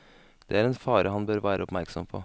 Det er en fare han bør være oppmerksom på.